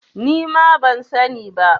Ni ma ban sani ba.